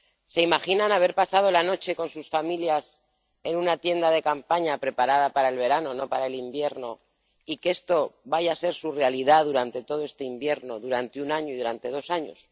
¿Se imaginan haber pasado la noche con sus familias en una tienda de campaña preparada para el verano, no para el invierno, y que esto vaya a ser su realidad durante todo este invierno, durante un año y durante dos años?